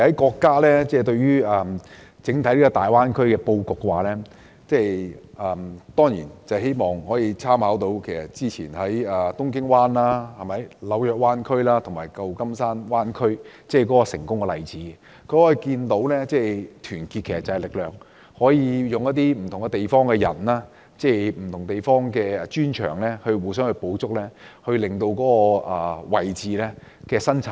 國家對於大灣區的布局，其實也參考了以往東京灣、紐約灣區及舊金山灣區的成功例子，可見團結就是力量，可以善用不同地方的不同專長取長補短，增加生產力。